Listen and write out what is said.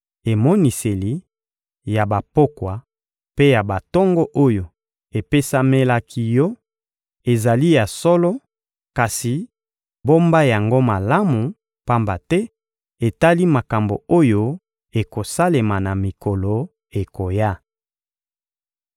Emoniseli ya bapokwa mpe ya batongo oyo epesamelaki yo ezali ya solo, kasi bomba yango malamu, pamba te etali makambo oyo ekosalema na mikolo ekoya.